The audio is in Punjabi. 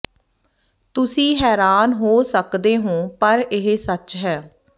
ਤੁਸ਼ੀ ਹੈਰਾਨ ਹੋ ਸਕਦੇ ਹੋ ਪਰ ਇਹ ਸਚ ਹੈ